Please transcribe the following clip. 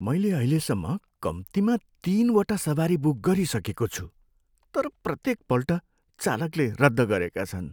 मैले अहिलेसम्म कम्तीमा तिनवटा सवारी बुक गरिसकेको छु, तर प्रत्येकपल्ट चालकले रद्द गरेका छन्।